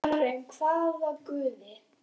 Karen: hvaða guði?